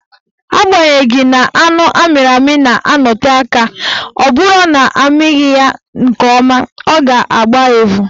Agbanyeghi na anụ amịrị amị na-anọte aka, ọ bụrụ na amịghị ya nke ọma, ọ ga-agba evu